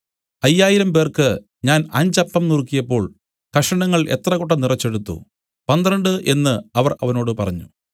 അയ്യായിരംപേർക്ക് ഞാൻ അഞ്ച് അപ്പം നുറുക്കിയപ്പോൾ കഷണങ്ങൾ എത്ര കൊട്ട നിറച്ചെടുത്തു പന്ത്രണ്ട് എന്നു അവർ അവനോട് പറഞ്ഞു